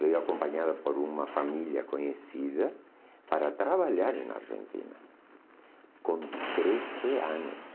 Veio acompanhada por uma família conhecida para trabalhar na Argentina com treze anos.